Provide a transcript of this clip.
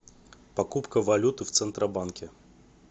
покупка валюты в центробанке